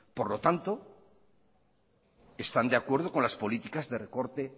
por lo tanto están de acuerdo con las políticas de recorte